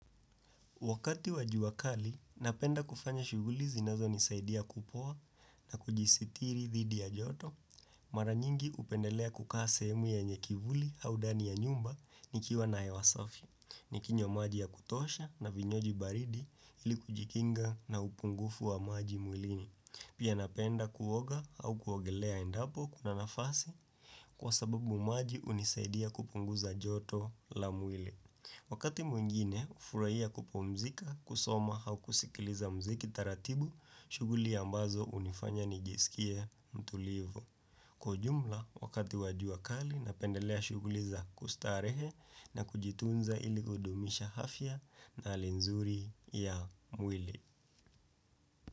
Wakati wa jua kali, napenda kufanya shughuli zinazo nisaidia kupoa na kujisitiri dhidi ya joto, mara nyingi hupendelea kukaa semu yenye kivuli au ndani ya nyumba nikiwa na hewa safi, nikinywa maji ya kutosha na vinywaji baridi ili kujikinga na upungufu wa maji mwilini. Pia napenda kuoga au kuogelea endapo kuna nafasi kwa sababu maji hunisaidia kupunguza joto la mwili. Wakati mwingine, hufurahia kupumzika, kusoma au kusikiliza muziki taratibu, shughuli ambazo hunifanya nijisikie mtulivu. Kwa ujumla, wakati wa jua kali, napendelea shughuli za kustarehe na kujitunza ili kudumisha afya na hali nzuri ya mwili.